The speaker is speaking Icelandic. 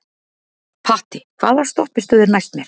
Patti, hvaða stoppistöð er næst mér?